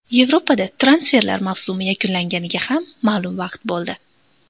Yevropada transferlar mavsumi yakunlanganiga ham ma’lum vaqt bo‘ldi.